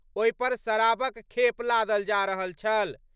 ओहि पर शराबक खेप लादल जा रहल छल।